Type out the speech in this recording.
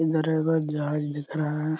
इधर एगो जहाज दिख रहा है।